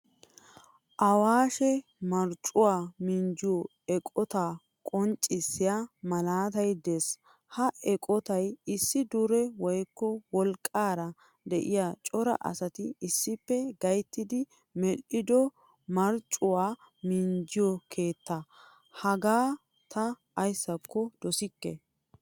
Awashee marccuwaa minjjiyo eqqotta qonccisiya malaatay de'ees. Ha eqqottay issi dure woykko wolqqaara de'iyaa cora asati issippe gayttidi medhdhido marccuwaa minjja keettaa. Hagaa ta ayssako dosikke.